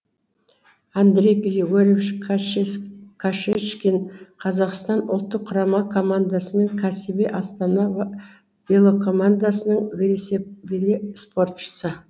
андрей григорьевич кашечкин қазақстан ұлттық құрама командасы мен кәсіби астана велокомандасының велиспортшысы